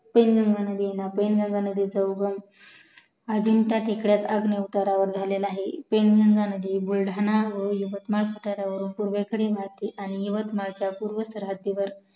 पैनगंगा नदीचा उगम अजिंठा टेकड्यावर अग्निउतरवर झालेला आहे पैनगंगा नदी बुलढाणा व यवतमाळ उतार्‍यावरून पूर्वेकडे आणि यवतमालच्या पूर्व सरहद्दीवर